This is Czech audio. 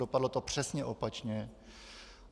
Dopadlo to přesně opačně.